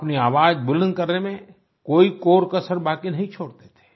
अपनी आवाज बुलंद करने में कोई कोरकसर बाकी नहीं छोड़ते थे